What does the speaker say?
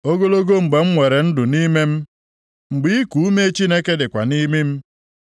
Ogologo mgbe m nwere ndụ nʼime m, mgbe iku ume Chineke dịkwa nʼimi m,